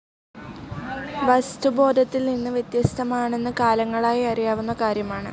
വസ്തു ബോധത്തിൽ നിന്ന് വ്യത്യസ്തമാനെന്ന് കാലങ്ങളായി അറിയാവുന്ന കാര്യമാണ്.